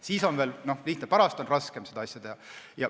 Siis on see veel lihtne, pärast on seda raskem teha.